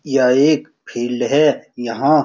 यह एक फील्ड है यहां --